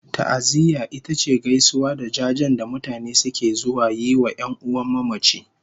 Ta'aziyya ita ce gaisuwa da jajen da mutane suke zuwa yi wa 'yan'uwan mamaci